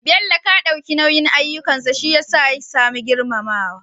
bello Ka dauki nauyin ayyukansa shiyasa ya samu girmamawa